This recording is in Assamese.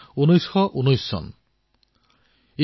১৯১৯ চনৰ কথা